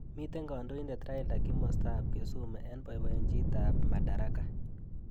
Mitei kandoindet Raila kimosta ab Kisumu eng boibojint ab Madaraka.